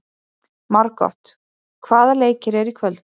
Margot, hvaða leikir eru í kvöld?